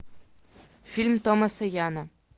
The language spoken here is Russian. фильм томаса яна